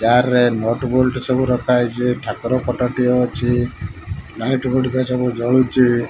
Car ରେ nut bolt ସବୁ ରଖା ହେଇଚି। ଠାକୁର ଫଟ ଟିଏ ଅଛି। ଲାଇଟ୍ ଗୁଡ଼ିକ ସବୁ ଜଳୁଚି।